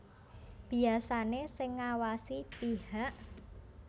Biasané sing ngawasi pihak